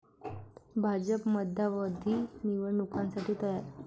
भाजप मध्यावधी निवडणुकांसाठी तयार'